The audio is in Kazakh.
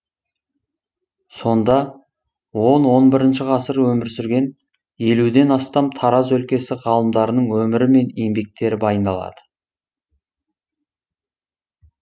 сонда он он бірінші ғасыр өмір сүрген елуден астам тараз өлкесі ғалымдарының өмірі мен еңбектері баяндалады